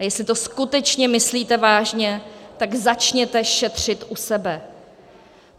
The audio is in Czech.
A jestli to skutečně myslíte vážně, tak začněte šetřit u sebe.